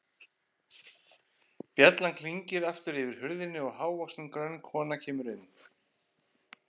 Bjallan klingir aftur yfir hurðinni og hávaxin, grönn kona kemur inn.